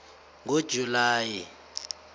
ngojulayi